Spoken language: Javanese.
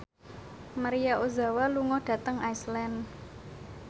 Maria Ozawa lunga dhateng Iceland